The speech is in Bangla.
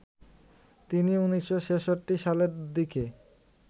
তিনি ১৯৬৬ সালে দিকে